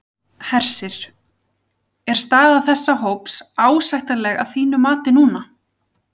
Hersir: Er staða þessa hóps ásættanleg að þínu mati núna?